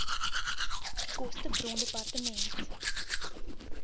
koste bron dept